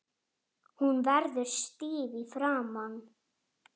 Hvað þá!